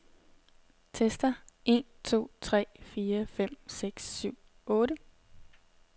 Tester en to tre fire fem seks syv otte.